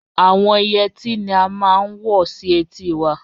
Àwọn Ìyetí ni à màá n wọ̀ sí ètì wà.